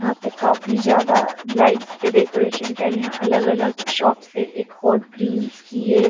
यहाँ पे काफ़ी ज्यादा लाइट्स से डेकोरेशन क्या यहाँ अलग-अलग शॉप से एक हॉट ग्रिलस की है ।